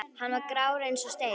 Hann var grár eins og steinn.